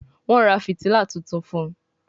Wón rà fìtílà títún fun